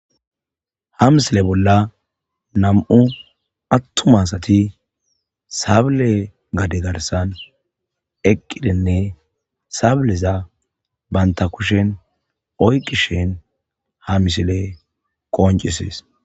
Ha misile bolla nam'u attumasati sabile gade garsan eqqidenne sableza banta kushen oyqishen ha misile qoncisees.